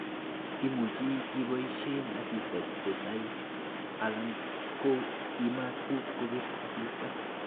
Imuche iboishen asista kosaii alan ko imaa tuguk kobir asista.